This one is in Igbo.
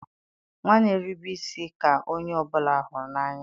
nwa na-erube isi ka onye ọ bụla hụrụ n'anya.